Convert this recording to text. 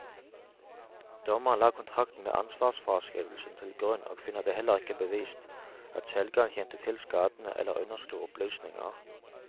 Dommeren la kontrakten med ansvarsfraskrivelsen til grunn og finner det heller ikke bevist at selgeren kjente til skadene eller underslo opplysninger.